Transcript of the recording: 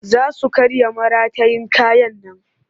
Za su karya maratayin kayan nan